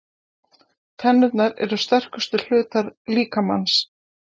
Tennurnar eru sterkustu hlutar líkamans.